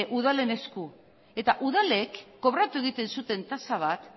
udalen esku eta udalek kobratu egiten zuten tasa bat